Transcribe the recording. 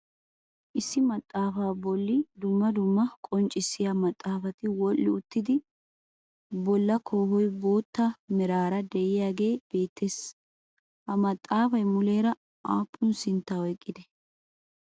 Issi maxaafaa bolli dumma dumma qonccissiya maatafati wodhdhi uttido bolla koohoy bootta meraara de'iyagee beettees. Ha maxaafay muleera aappun sintta oyqqidee?